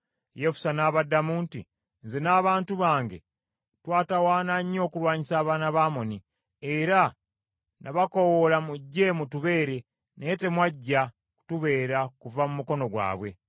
Yefusa n’abaddamu nti, “Nze n’abantu bange twatawaana nnyo okulwanyisa abaana ba Amoni, era nabakoowoola mujje mutubeere, naye temwajja kutubeera kuva mu mukono gwabwe.